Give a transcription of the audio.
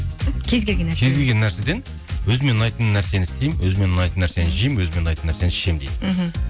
кез келген нәрседен өзіме ұнайтын нәрсені істеймін өзіме ұнайтын нәрсені жеймін өзіме ұнайтын нәрсені ішемін дейді мхм